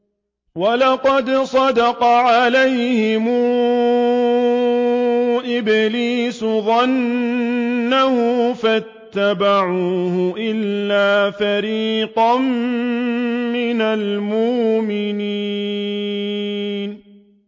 وَلَقَدْ صَدَّقَ عَلَيْهِمْ إِبْلِيسُ ظَنَّهُ فَاتَّبَعُوهُ إِلَّا فَرِيقًا مِّنَ الْمُؤْمِنِينَ